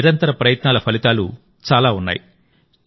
ఈ నిరంతర ప్రయత్నాల ఫలితాలు చాలా ఉన్నాయి